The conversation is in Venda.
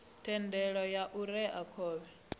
thendelo ya u rea khovhe